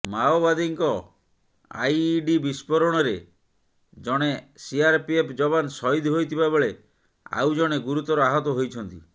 ମାଓବାଦୀଙ୍କ ଆଇଇଡି ବିସ୍ଫୋରଣରେ ଜଣେ ସିଆରପିଏଫ ଯବାନ ସହିଦ ହୋଇଥିବା ବେଳେ ଆଉ ଜଣେ ଗୁରୁତର ଆହତ ହୋଇଛନ୍ତି